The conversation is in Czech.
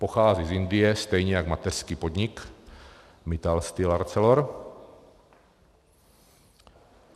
Pochází z Indie, stejně jako mateřský podnik Mittal Steel Arcelor.